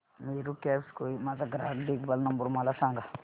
Meru cabs Kohima चा ग्राहक देखभाल नंबर मला सांगा